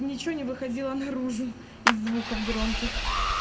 ничего не выходило наружу из звуков громких